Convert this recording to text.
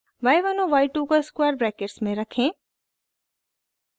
y1 और y2 को square brackets में रखें